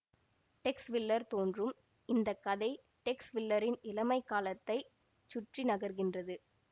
டெக்ஸ் Willer தோன்றும் இந்த கதை டெக்ஸ் வில்லரின் இளமைக் காலத்தை சுற்றி நகர்கின்றது